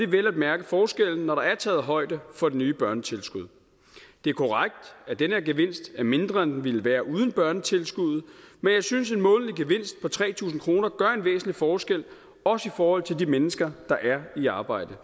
vel at mærke forskellen når der er taget højde for det nye børnetilskud det er korrekt at den her gevinst er mindre end den ville være uden børnetilskuddet men jeg synes at en månedlig gevinst på tre tusind kroner gør en væsentlig forskel også i forhold til de mennesker der er i arbejde